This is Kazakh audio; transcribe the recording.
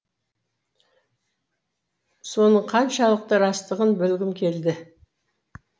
соның қаншалықты растығын білгім келді